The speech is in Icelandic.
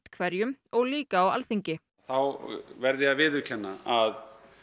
hverjum og líka á Alþingi þá verð ég að viðurkenna að